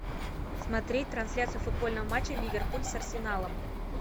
смотреть трансляцию футбольного матча ливерпуль с арсеналом